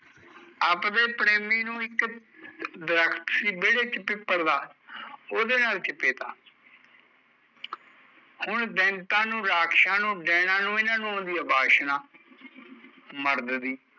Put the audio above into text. ਅਬਦੇ ਪ੍ਰੇਮੀ ਨੂ ਇੱਕ ਦਰੱਖਤ ਸੀ ਵੇਹੜੇ ਚ ਪਿੱਪਲ ਦਾ ਉਹਦੇ ਨਾਲ਼ ਚਿਪੇਤਾ ਹੁਣ ਦੈਤਾ ਨੂ ਰਕਸ਼ਾਂ ਨੂ ਏਹਨਾ ਨੂ ਆਉਂਦੀ ਐ ਵਾਸ਼ਨਾ, ਮਰਦ ਦੀ